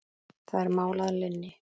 Það er mál að linni!